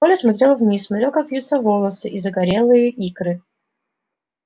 коля смотрел вниз смотрел как вьются волосы и загорелые икры